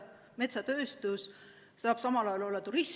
Metsatööstus saab samal ajal olla turism.